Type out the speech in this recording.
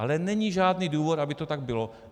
Ale není žádný důvod, aby to tak bylo.